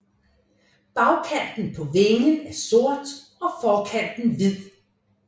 Bagkanten på vingen er sort og forkanten hvid